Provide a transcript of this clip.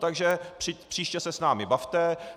Tak příště se s námi bavte.